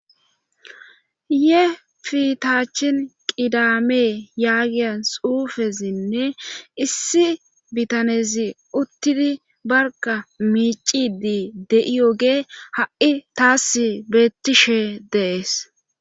Ye fitaachin qidamee yaagiyan xuufesinne issi bitanezi uttidi barga miicidi de7ioge ha7i taas bettishe dees